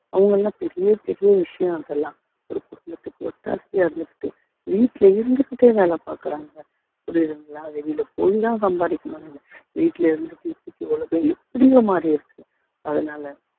அவங்க என்ன பெரிய பெரிய விஷயம் அதெல்லாம் ஒரு குடும்பத்துக்கு ஒத்தாசையா இருந்துகிட்டு வீட்டுல இருந்துகிட்டே வேலை பாக்குறாங்க புரியுதுங்களா வெளியில போய்தான் சம்பாரிக்கணும் இல்ல வீட்டுல இருந்து உலகம் எப்படியோ மாரி இருக்கு அதனால